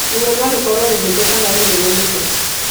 Ruo no rũkoro rũhũthũ kana rũnene mũno.